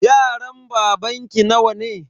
Yaran babanki nawa ne?